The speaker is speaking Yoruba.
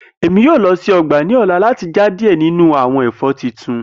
Emi yoo lọ si ọgba ni ọla lati fa diẹ ninu awọn ẹfọ tuntun.